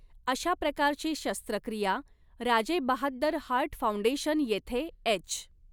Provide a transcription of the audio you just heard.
अशा प्रकारची शस्त्रक्रिया राजेबहाद्दर हार्ट फाउंडेशन येथे एच.